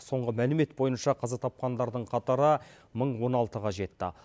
соңғы мәлімет бойынша қаза тапқандардың қатары мың он алтыға жетті